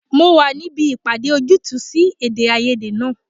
Mo wà níbi ìpàdé ojútùú sí èdè-áiyedé náà.